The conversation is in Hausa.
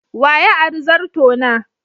Wa ya ari zartona?